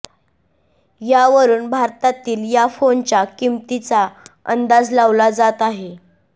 यावरून भारतातील या फोनच्या किंमतीचा अंदाज लावला जात आहे